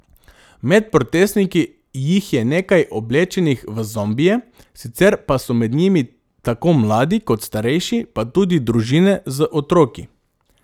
Med protestniki jih je nekaj oblečenih v zombije, sicer pa so med njimi tako mladi kot starejši, pa tudi družine z otroki.